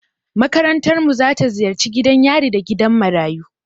Makarantarmu za ta ziyarci gidan yari da gidan marayu.